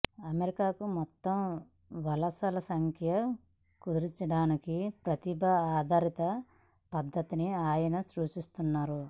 అమెరికాకు మొత్తం వలసల సంఖ్యను కుదించడానికి ప్రతిభ ఆధారిత పద్ధతిని ఆయన సూచిస్తున్నారు